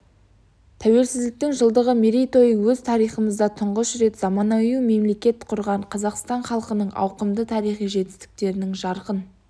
тәуелсіздіктің жылдығы мерейтойы өз тарихымызда тұңғыш рет заманауи мемлекет құрған қазақстан халқының ауқымды тарихи жетістіктерінің жарқын